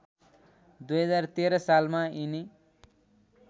२०१३ सालमा यिनी